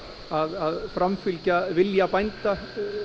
að framfylgja vilja bænda